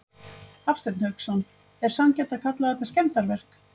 Hafsteinn Hauksson: Er sanngjarnt að kalla þetta skemmdarverk?